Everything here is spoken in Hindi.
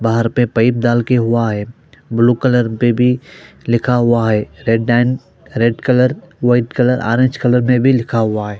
बाहर पे पाइप डालके रक्खा हुआ है ब्लू कलर में भी लिखा हुआ है red and red colour white colour orange colour में भी लिखा हुआ है।